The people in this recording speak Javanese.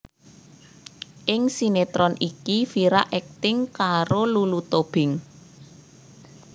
Ing sinétron iki Vira akting karo Lulu Tobing